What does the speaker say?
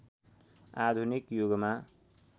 आधुनिक युगमा